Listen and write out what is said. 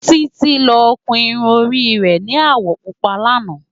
Titi lò kún irún óri rè ni áwò púpá làná